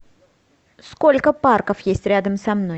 сколько парков есть рядом со мной